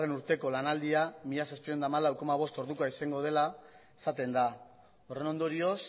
urteko lanaldia mila zazpiehun eta hamalau koma bost ordukoa izango dela esaten da horren ondorioz